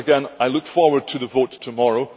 I look forward to the vote tomorrow.